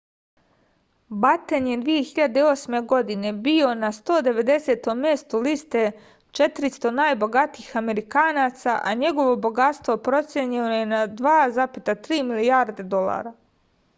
baten je 2008. godine bio na 190. mestu liste 400 najbogatijih amerikanaca a njegovo bogatstvo procenjeno je na 2,3 milijarde dolara